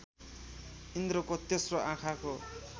इन्द्रको तेस्रो आँखाको